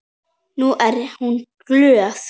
Nú er hún glöð.